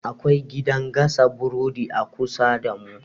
Akwai gidan gasa burodi a kusa damu.